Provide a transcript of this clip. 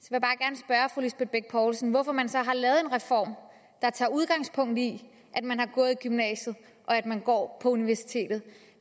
så lisbeth bech poulsen hvorfor man så har lavet en reform der tager udgangspunkt i at man har gået i gymnasiet og at man går på universitetet